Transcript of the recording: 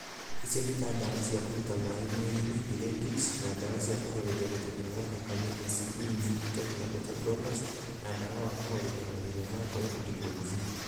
Icio nĩ ta ndawa cia kũruta maĩ mwĩrĩ-nĩ( diuretics) , ndawa cia kũhoreria gũteng'era kwa thakame (ACE inhibitors na beta blockers) na ndawa wa kũhoreria mathĩna ma ngoro (digoxin.)